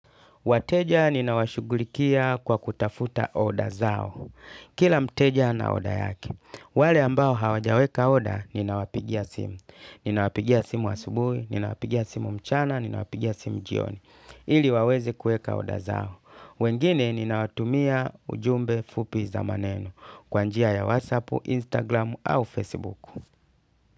Wateja ninawashughulikia kwa kutafuta order zao. Kila mteja ana order yake. Wale ambao hawajaweka order ninawapigia simu. Ninawapigia simu asubui, ninawapigia simu mchana, ninawapigia simu jioni. Ili wawezi kueka order zao. Wengine ninawatumia ujumbe fupi za maneno kwa njia ya WhatsApp, Instagram au Facebook.